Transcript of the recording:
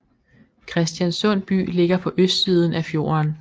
Kristiansund by ligger på østsiden af fjorden